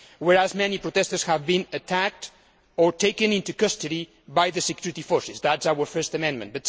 Whereas many protestors have been attacked or taken into custody by the security forces' that is our first amendment.